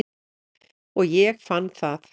Og ég fann það.